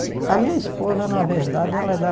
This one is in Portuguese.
A minha esposa na verdade ela é da